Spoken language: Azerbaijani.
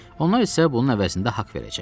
Onlar isə bunun əvəzində haqq verəcəklər.